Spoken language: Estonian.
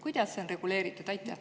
Kuidas see on reguleeritud?